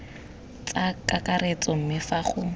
tsa kakaretso mme fa go